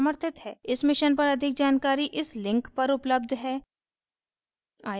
इस mission पर अधिक जानकारी इस link पर उपलब्ध है